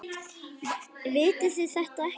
Vitið þið þetta ekki?